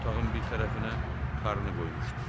Otağın bir tərəfinə tarını qoymuşdu.